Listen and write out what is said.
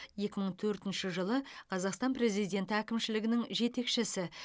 екі мың төртінші жылы қазақстан президенті әкімшілігінің жетекшісі